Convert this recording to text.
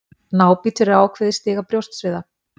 Nábítur er ákveðið stig af brjóstsviða.